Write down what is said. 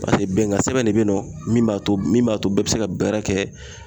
bɛnkan sɛbɛn de be yen nɔ min b'a to min b'a to bɛɛ bɛ se ka baara kɛ